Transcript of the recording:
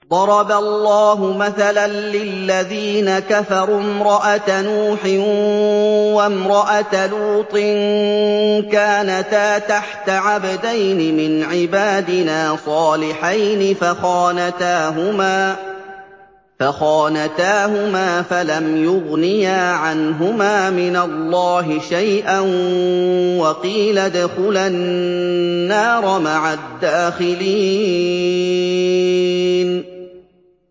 ضَرَبَ اللَّهُ مَثَلًا لِّلَّذِينَ كَفَرُوا امْرَأَتَ نُوحٍ وَامْرَأَتَ لُوطٍ ۖ كَانَتَا تَحْتَ عَبْدَيْنِ مِنْ عِبَادِنَا صَالِحَيْنِ فَخَانَتَاهُمَا فَلَمْ يُغْنِيَا عَنْهُمَا مِنَ اللَّهِ شَيْئًا وَقِيلَ ادْخُلَا النَّارَ مَعَ الدَّاخِلِينَ